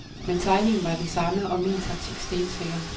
Men tegningen var den samme og min taktik stensikker.